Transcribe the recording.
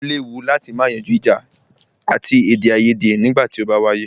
O léwu láti má yanjú ìjà àti èdèaiyèdè nígbà tí o bá wáyé.